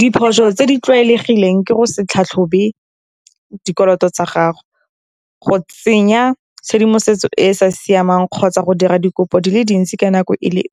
Diphoso tse di tlwaelegileng ke go se tlhatlhobe dikoloto tsa gago, go tsenya tshedimosetso e e sa siamang, kgotsa go dira dikopo di le dintsi ka nako e le .